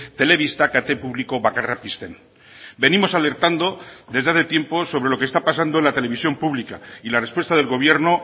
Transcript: telebista kate publiko bakarra pizten venimos alertando desde hace tiempo sobre lo que está pasando en la televisión pública y la respuesta del gobierno